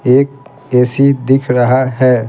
एक ए_सी दिख रहा है।